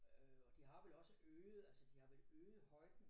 Øh og de har vel også øget altså de har vel øget højden